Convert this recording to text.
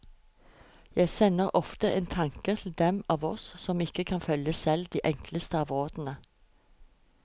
Jeg sender ofte en tanke til dem av oss som ikke kan følge selv de enkleste av rådene.